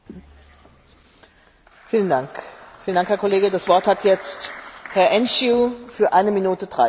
În calitate de raportor din partea Grupului SD pentru problema SIS, mă voi referi la acesta.